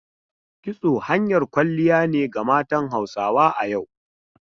Kitso hanyar kwalliya ne ga matan Hausa a yau.